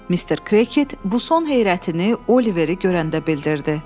Mister Kket bu son heyrətini Oliveryi görəndə bildirdi.